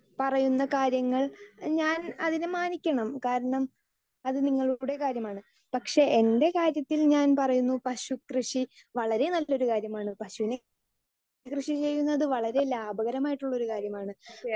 speaker 2 പറയുന്ന കാര്യങ്ങൾ ഞാൻ അതിനെ മാനിക്കണം അത് നിങ്ങളുടെ കാര്യമാണ് പക്ഷെ എൻ്റെ കാര്യത്തിൽ ഞാൻ പറയുന്നു പശു കൃഷി വളരേ നല്ലൊരു കാര്യമാണ് പശുവിനെ കൃഷി ചെയ്യുന്നത് വളരേ ലാഭകരമായിട്ടുള്ള ഒരു കാര്യമാണ്